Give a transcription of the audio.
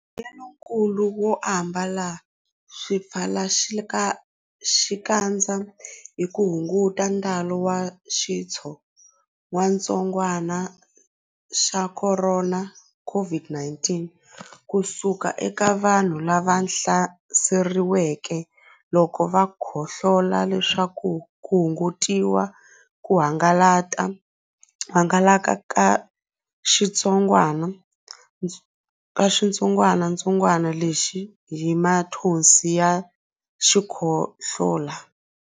Mbuyelonkulu wo ambala swipfalaxikandza i ku hunguta ntalo wa xitsongwantsongwana xa Khorona, COVID-19, ku suka eka vanhu lava hlaseriweke loko va khohlola leswaku ku hungutiwa ku hangalaka ka xitsongwatsongwana lexi hi mathonsi ya xikhohlola.